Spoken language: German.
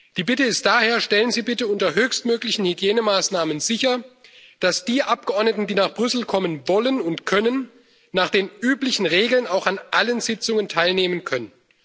Die Bitte ist daher Stellen Sie bitte unter höchstmöglichen Hygienemaßnahmen sicher, dass die Abgeordneten, die nach Brüssel kommen wollen und können, nach den üblichen Regeln auch an allen Sitzungen teilnehmen können.